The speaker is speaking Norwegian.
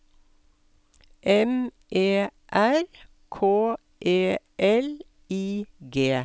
M E R K E L I G